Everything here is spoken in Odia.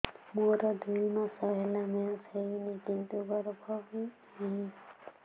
ମୋର ଦୁଇ ମାସ ହେଲା ମେନ୍ସ ହେଇନି କିନ୍ତୁ ଗର୍ଭ ବି ନାହିଁ